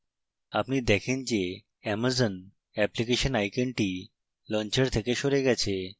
আপনি দেখেন যে amazon অ্যাপ্লিকেশন আইকনটি launcher থেকে সরে গেছে